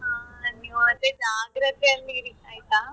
ಹೌದ ಹಾ ನೀವ್ ಅದೇ ಜಾಗ್ರತೆ ಅಲ್ಲಿ ಇರಿ ಆಯ್ತಾ.